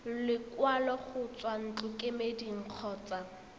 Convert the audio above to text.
lekwalo go tswa ntlokemeding kgotsa